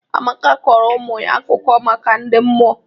Amaka kọrọ ụmụ ya akụkọ maka ndị mmụọ.